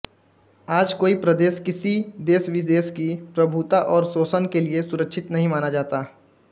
आज कोई प्रदेश किसी देशविशेष की प्रभुता और शोषण के लिये सुरक्षित नहीं माना जाता